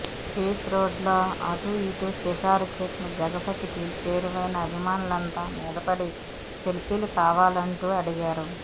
beach రోడ్లో అటూ ఇటూ షికారు చేసిన జగపతికి చేరువైన అభిమానులంతా మీదపడి సెల్ఫీలు కావాలంటూ అడిగారు